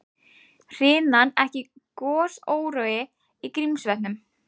Hrinan ekki gosórói í Grímsvötnum